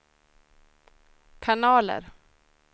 kanaler